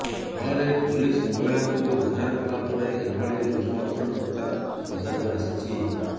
ଫଳରେ ପୋଲିସ ମହିଳାଙ୍କୁ ଉଦ୍ଧାର କଲାପରେ ଏଭଳି ଲୋମହର୍ଷଣ କଥା ପଦାକୁ ଆସିଛି